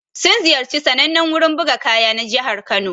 Sun ziyarci sannanen wurin buga kaya na jihar Kano.